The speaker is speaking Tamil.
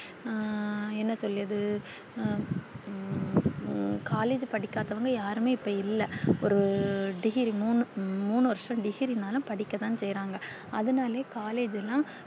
அஹ் என்ன சொல்லியது collage படிக்காதவாங்க யாருமே இப்ப இல்ல ஒரு degree முன்னு வருஷம் degree நாளும் படிக்க தான் செயிராங்க அது நாளே தான் collage ல்லா